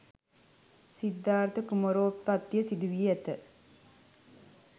සිද්ධාර්ථ කුමාරෝත්පත්තිය සිදුවී ඇත